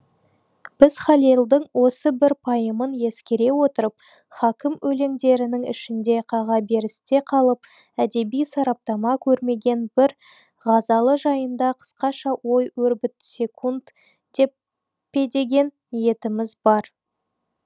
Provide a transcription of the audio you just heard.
біз халелдің осы бір пайымын ескере отырып хакім өлеңдерінің ішінде қағаберісте қалып әдеби сараптама көрмеген бір ғазалы жайында қысқаша ой өрбіт секунд пе деген ниетіміз бар